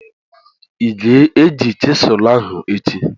I ga-eyuzu chịselu ahụ echi?